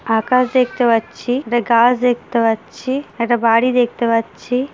আকাশ দেখতে পাচ্ছি একটা গাছ দেখতে পাচ্ছি একটা বাড়ি দেখতে পাচ্ছি।